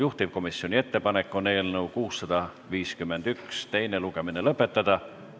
Juhtivkomisjoni ettepanek on eelnõu 651 teine lugemine lõpetada.